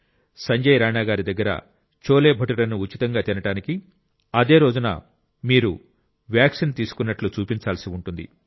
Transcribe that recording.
సంజయ్ రాణా గారి దగ్గర చోలేభతురేను ఉచితంగా తినడానికి అదే రోజున మీకు వ్యాక్సిన్ తీసుకున్నట్టు చూపించాల్సి ఉంటుంది